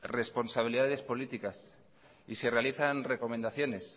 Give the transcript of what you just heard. responsabilidades políticas y se realizan recomendaciones